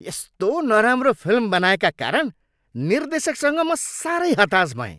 यस्तो नराम्रो फिल्म बनाएका कारण निर्देशकसँग म साह्रै हताश भएँ।